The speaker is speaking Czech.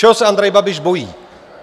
Čeho se Andrej Babiš bojí?